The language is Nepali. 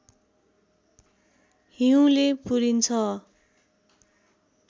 हिउँले पुरिन्छ